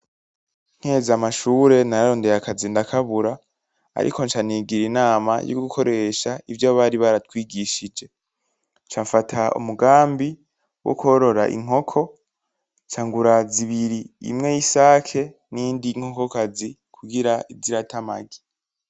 Nkiheza amashure nararondeye akazi ndakabura. Ariko ncanigira inama yogukoresha ivyo bari baratwigishije. Ncamfata umugambi wokworora inkoko. Nca ngura zibiri, imwe yisake niyindi nkokokazi kugira ize irata amagi.